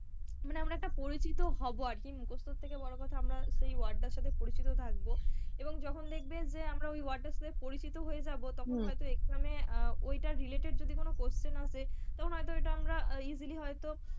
মানে আমরা একটা পরিচিত হবো আরকি মুখস্তর থেকে বড়ো কথা আমরা সেই word টার সাথে পরিচিত থাকবো এবং যখন দেখবে যে আমরা সেই word টার সাথে পরিচিত হয়ে যাবো তখন হয়তো exam এ ওইটার related যদি কোন question আসে তখন হয়তো ওইটা আমরা easily হয়তো,